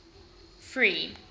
free